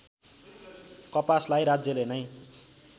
कपासलाई राज्यले नै